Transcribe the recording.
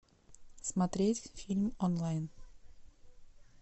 смотреть фильм онлайн